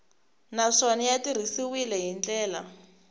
naswona ya tirhisiwile hi ndlela